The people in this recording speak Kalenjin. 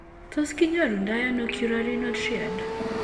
Tos kinyoru ndo ano Currarino triad ?